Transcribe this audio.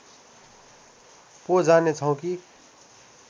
पो जानेछौँ कि